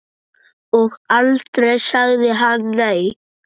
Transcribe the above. Og aldrei sagði hann nei.